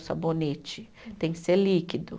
O sabonete tem que ser líquido.